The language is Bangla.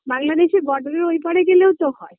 বাংলাদেশের Border -এর ওই পারে গেলেও তো হয়